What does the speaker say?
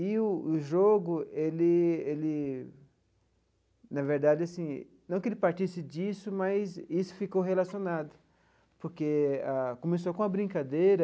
E o o jogo ele ele, na verdade assim, não que ele partisse disso, mas isso ficou relacionado, porque a começou com a brincadeira,